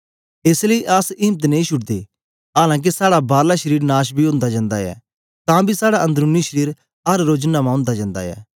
एस लेई अस इम्त नेई छुडदे आलां के साड़ा बारला शरीर नाश बी ओंदा जंदा ऐ तां बी साड़ा अन्दरूनी शरीर अर रोज नमां ओंदा जन्दा ऐ